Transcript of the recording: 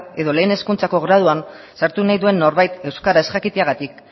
edo lehen hezkuntzako graduan sartu nahi duen norbait euskara ez jakiteagatik